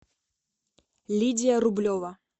лидия рублева